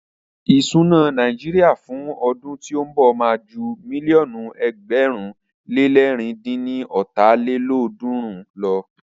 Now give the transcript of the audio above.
Ìsúná Nàíjíríà fún ọdún tí ó ń bọ̀ má a ju mílíọ̀nù ẹgbẹ̀rún le lẹ̀rin dín ní ọ́ta lélọ́ọ̀dúnrún lọ.